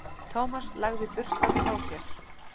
Thomas lagði burstann frá sér.